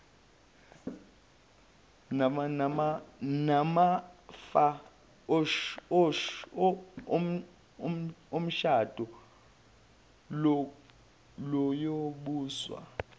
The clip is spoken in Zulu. namafa omshado luyobuswa